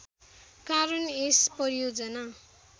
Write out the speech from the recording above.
कारण यस परियोजना